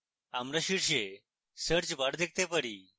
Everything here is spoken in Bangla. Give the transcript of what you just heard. আমরা শীর্ষে search bar দেখতে পারি